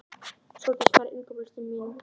Sóldís, hvað er á innkaupalistanum mínum?